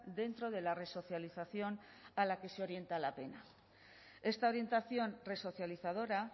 dentro de la resocialización a la que se orienta a la pena esta orientación resocializadora